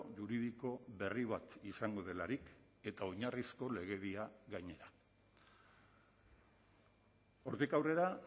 juridiko berri bat izango delarik eta oinarrizko legedia gainera hortik aurrera